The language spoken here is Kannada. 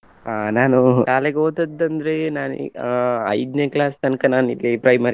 ಅಹ್ ನಾನು ಶಾಲೆಗೊದದ್ದಂದ್ರೆ ನಾನ್ ಅಹ್ ಐದ್ನೆ class ತನ್ಕ ನಾನ್ ಇಲ್ಲಿ primary .